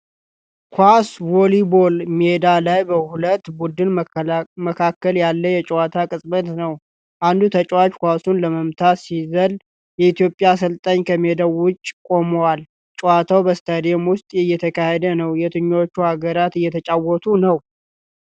ኳስ ቮሊቦል ሜዳ ላይ በሁለት ቡድኖች መካከል ያለ የጨዋታ ቅጽበት ነው። አንዱ ተጫዋች ኳሱን ለመምታት ሲዘል፣ የኢትዮጵያ አሰልጣኝ ከሜዳው ውጭ ቆመዋል። ጨዋታው በስታዲየም ውስጥ እየተካሄደ ነው። የትኞቹ ሀገራት እየተጫወቱ ነው?